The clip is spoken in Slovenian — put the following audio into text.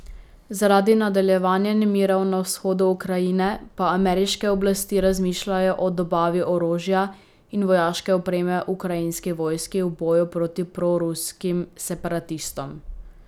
Zaradi nadaljevanja nemirov na vzhodu Ukrajine pa ameriške oblasti razmišljajo o dobavi orožja in vojaške opreme ukrajinski vojski v boju proti proruskim separatistom.